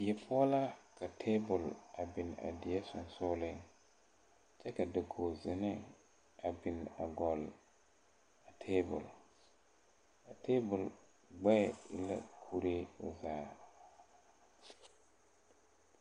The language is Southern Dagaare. Die poɔ la ka tabol a bin a die sensugliŋ kyɛ ka dakogezinee a bine a gɔlle a tabol a tabol gbɛɛ e la kuree o zaa.